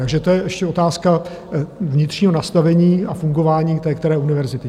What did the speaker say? Takže to je ještě otázka vnitřního nastavení a fungování té které univerzity.